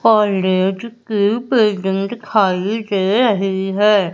और रेड की पेंटिंग दिखाई दे रही है।